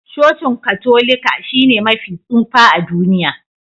Cocin Katolika shine mafi tsufa a duniya